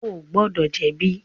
O gbọdọ jẹbi!